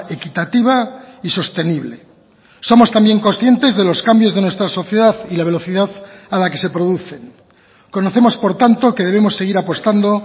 equitativa y sostenible somos también conscientes de los cambios de nuestra sociedad y la velocidad a la que se producen conocemos por tanto que debemos seguir apostando